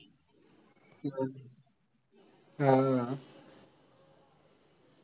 हा.